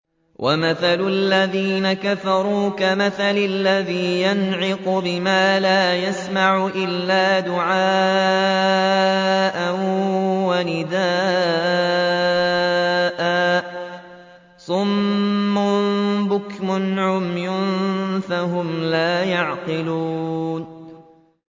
وَمَثَلُ الَّذِينَ كَفَرُوا كَمَثَلِ الَّذِي يَنْعِقُ بِمَا لَا يَسْمَعُ إِلَّا دُعَاءً وَنِدَاءً ۚ صُمٌّ بُكْمٌ عُمْيٌ فَهُمْ لَا يَعْقِلُونَ